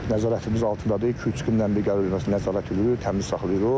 Nəzarətimiz altındadır, iki-üç gündən bir gəlib nədə nəzarət edirik, təmiz saxlayırıq.